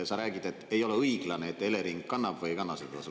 Sa räägid, et ei ole õiglane, et Elering kannab või ei kanna seda tasu.